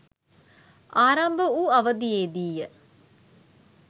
ආරම්භ වූ අවධියේදීය.